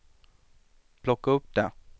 plocka upp det